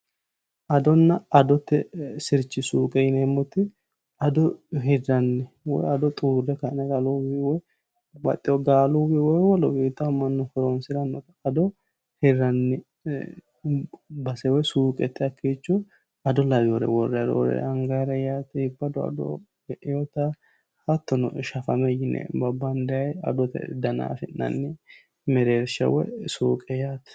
Adona adote sirchi suuqe yineemmo woyte ado hiranni woyi ado xuure ka'ne lalunni babbaxewoni galunni woyi mannu yannate horonsirana hiranni base woyi suuqete hakkicho ado lawinore worranni roore angannire iibbado ado, geinotta hattono shafame yinanni babbande ado affi'nanni mereersha woyi suuqe yaate.